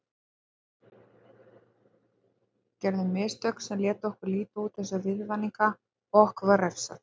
Við gerðum mistök sem létu okkur líta út eins og viðvaninga og okkur var refsað.